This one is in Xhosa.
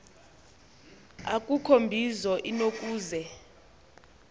akukho mbizo inokuze